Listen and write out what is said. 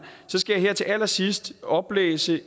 så skal jeg her til allersidst oplæse et